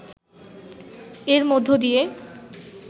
এর মধ্য দিয়ে